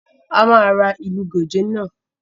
A máa ra ìlú gòjé náà